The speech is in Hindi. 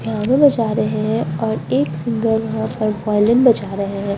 एक सिंगर यहाँ पे वॉल्यूम है।